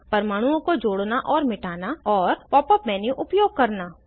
परमाणुओं को जोड़ना और मिटाना और Pop up मेन्यू उपयोग करना